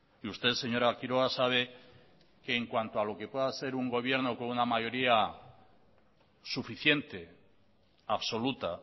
y usted señora quiroga sabe que en cuanto a lo que pueda ser un gobierno con una mayoría suficiente absoluta